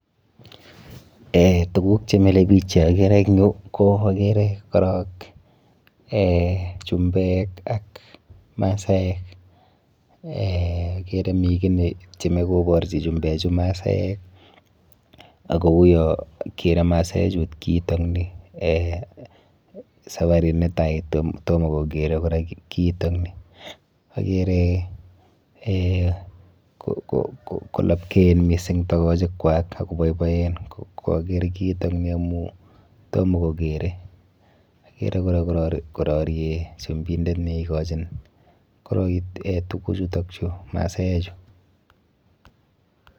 Eh tuguk chemilepich cheakere eng yu ko akere korok eh Chumbek ak Masaek eh akere mi kiy netyeme koborchi Chumbechu Masaeek ako uyo kerei Masaechut kiitokni eh safarit netai, tomo kokere kora kiitokni. Akere eh kolapkeen mising tokochikwa ako boiboen kokarer kiitokni amu tomo kokerei. Akere kora kororie Chumbindet neikochin tukuchutokchu Masaechu.